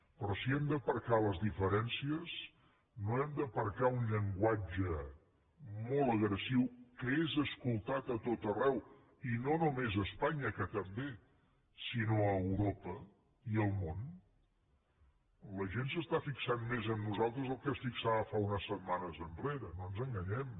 però si hem d’aparcar les diferències no hem d’aparcar un llenguatge molt agressiu que és escoltat a tot arreu i no només a espanya que també sinó a europa i al món la gent s’està fixant més en nosaltres del que s’hi fixava unes setmanes enrere no ens enganyem